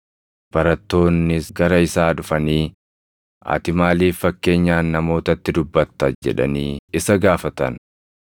Barattoonnis gara isaa dhufanii, “Ati maaliif fakkeenyaan namootatti dubbatta?” jedhanii isa gaafatan.